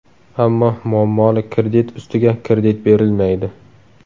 Ammo muammoli kredit ustiga kredit berilmaydi.